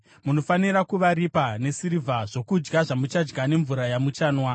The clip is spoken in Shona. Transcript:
Munofanira kuvaripa nesirivha zvokudya zvamuchadya nemvura yamuchanwa.’ ”